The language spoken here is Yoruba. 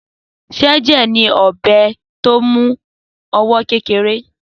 Sẹjẹ ní ọbẹ tọ mú àtí ọwọ kẹkẹrẹ